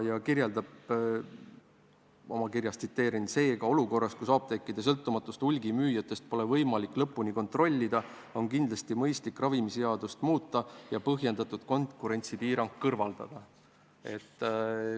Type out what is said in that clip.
Tsiteerin kirja: "Seega olukorras, kus apteekide sõltumatust hulgimüüjatest pole võimalik lõpuni kontrollida, on kindlasti mõistlik ravimiseadust muuta ja põhjendamatu konkurentsipiirang kõrvaldada.